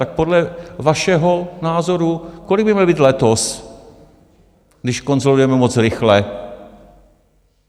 Tak podle vašeho názoru, kolik by měl být letos, když konsolidujeme moc rychle?